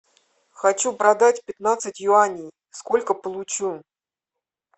хочу продать пятнадцать юаней сколько получу